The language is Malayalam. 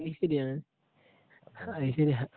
അത് ശെരിയാ അത് ശെരിയാ